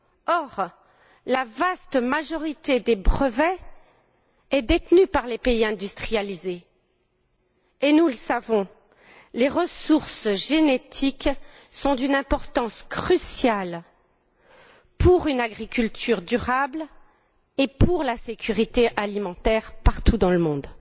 Or, la vaste majorité des brevets est détenue par les pays industrialisés et, nous le savons, les ressources génétiques sont d'une importance cruciale pour une agriculture durable et pour la sécurité alimentaire partout dans le monde.